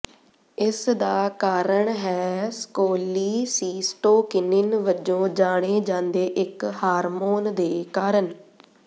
ਇਸ ਦਾ ਕਾਰਣ ਹੈ ਸਕੋਲੀਸੀਸਟੋਕਿਨਿਨ ਵਜੋਂ ਜਾਣੇ ਜਾਂਦੇ ਇੱਕ ਹਾਰਮੋਨ ਦੇ ਕਾਰਨ